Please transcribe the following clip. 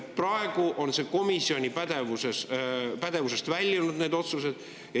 Praegu on need otsused komisjoni pädevuse väljunud.